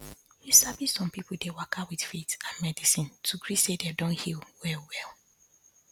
you sabi some people dey waka with faith and medicine to gree say dem don heal well well